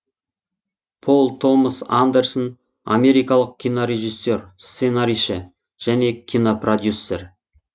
пол томас андерсон америкалық кинорежиссер сценарийші және кинопродюсер